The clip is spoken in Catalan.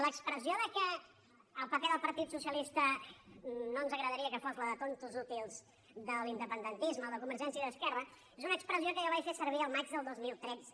l’expressió que el paper del partit socialista no ens agradaria que fos el de tontos útils de l’independentisme o de convergència i d’esquerra és una expressió que jo vaig fer servir al maig del dos mil tretze